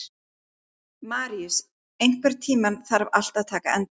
Maríus, einhvern tímann þarf allt að taka enda.